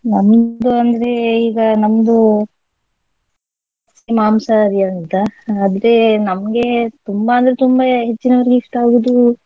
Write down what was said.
ನಮ್ದು ಅಂದ್ರೆ ಈಗ ನಮ್ದು ಮಾಂಸಹಾರಿ ಅಂತ ಆದ್ರೆ ನಮ್ಗೆ ತುಂಬಾ ಅಂದ್ರೆ ತುಂಬಾ ಹೆಚ್ಚಿನವರಿಗೆ ಇಷ್ಟ ಆಗುದು.